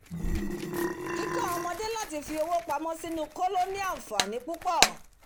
kíkọ́ ọmọdé láti fi owó pamó sí inú kóló ní ànfàní púpọ̀